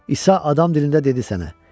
İsa adam dilində dedi sənə.